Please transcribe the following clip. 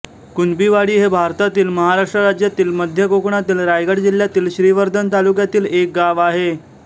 कुणबीवाडी हे भारतातील महाराष्ट्र राज्यातील मध्य कोकणातील रायगड जिल्ह्यातील श्रीवर्धन तालुक्यातील एक गाव आहे